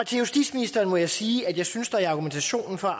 til justitsministeren må jeg sige at jeg synes der i argumentationen for